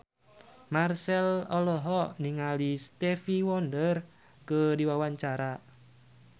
Marchell olohok ningali Stevie Wonder keur diwawancara